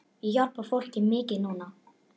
Ég hjálpa fólki mikið núna.